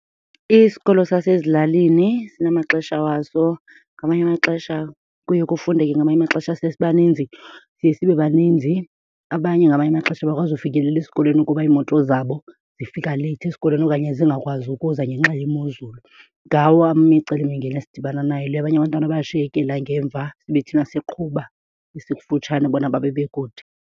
Isikolo sasezilalini sinamaxesha waso. Ngamanye amaxesha kuye kufundeke ngamanye amaxesha siye sibaninzi, siye sibebaninzi. Abanye ngamanye amaxesha abakwazi ufikelela esikolweni kuba iimoto zabo zifika leyithi esikolweni okanye zingakwazi ukuza ngenxa yemozulu. Ngawo imicelimingeni esidibana nayo leyo. Abanye abantwana bayashiyekela ngemva sibe thina siqhuba esikufutshane bona babe bekude.